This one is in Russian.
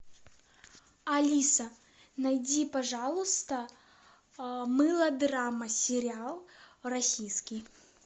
алиса найди пожалуйста мылодрама сериал российский